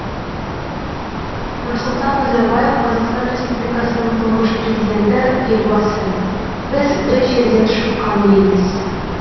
нұрсұлтан назарбаев қазақстан республикасының тұңғыш президенті елбасы біз бір жерден шыққан елміз